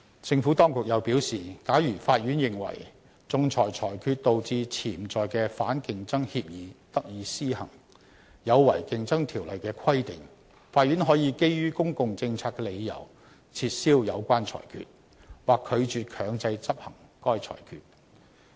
政府當局又表示，假如法院認為仲裁裁決導致潛在的反競爭協議得以施行，有違《競爭條例》的規定，法院可基於公共政策的理由，撤銷有關裁決，或拒絕強制執行該裁決。